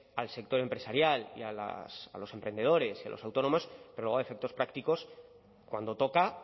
al sector empresarial y a los emprendedores y a los autónomos pero luego a efectos prácticos cuando toca